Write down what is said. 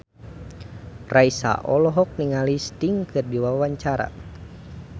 Raisa olohok ningali Sting keur diwawancara